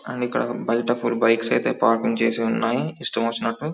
And ఇక్కడ బయట full bikes అయితే పార్కింగ్ చేసి ఉన్నాయి ఇష్టము వచ్చినట్టు .